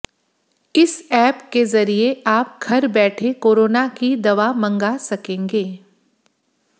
स ऐप के जरिए आप घर बैठे कोरोना की दवा मंगा सकेंगे